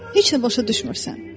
Heç nə başa düşmürsən.